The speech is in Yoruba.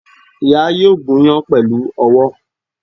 Ìyá yóò gúnyán pèlú owó